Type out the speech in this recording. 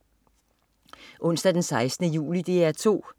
Onsdag den 16. juli - DR 2: